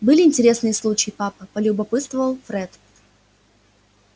были интересные случаи папа полюбопытствовал фред